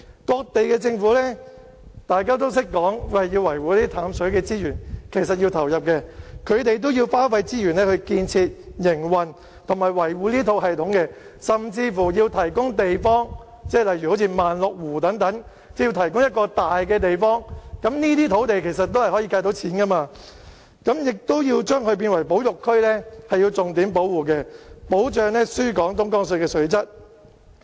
各地政府都懂得說要維護淡水資源，其實是要投入的，他們要花費資源來建設、營運和維護這套系統，甚至要提供地方，例如萬綠湖等，要提供一個大的地方，這些土地其實也可以計算價錢的，亦要將之列為保育區，重點保護，以保障輸港東江水的水質。